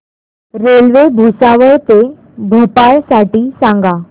railway Bhusawal ते भोपाळ साठी सांगा